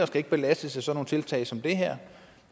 skal belastes af sådan nogle tiltag som det her